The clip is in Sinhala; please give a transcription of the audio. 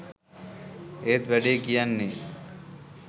ඒත් වැඩේ කියන්නෙ